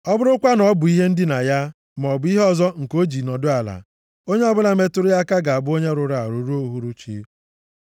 Ọ bụrụkwa na ọ bụ ihe ndina ya, maọbụ ihe ọzọ nke o ji nọdụ ala, onye ọbụla metụrụ ya aka ga-abụ onye rụrụ arụ ruo uhuruchi.